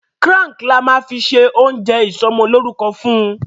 Crunk là má fí ṣe ojo isomo loruko fún.